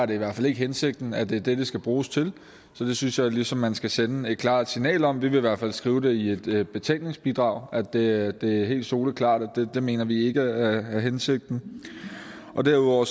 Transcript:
det i hvert fald ikke hensigten at det er det det skal bruges til så det synes jeg ligesom man skal sende et klart signal om vi vil i hvert fald skrive i betænkningsbidraget at det er helt soleklart at det mener vi ikke er hensigten derudover